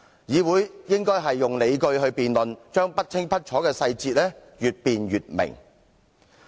議會應該提出理據進行辯論，讓不清不楚的細節越辯越明。